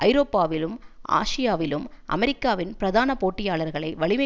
ஐரோப்பாவிலும் ஆசியாவிலும் அமெரிக்காவின் பிரதான போட்டியாளர்களை வலிமை